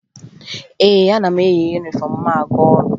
Ee, ana m eyi yunifọmụ m aga ọrụ